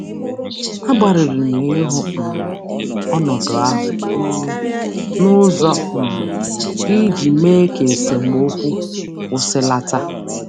Agbalịrị m ịhụ um ọnọdụ ahụ um n'ụzọ um ha iji mee ka esemokwu kwụsịlata.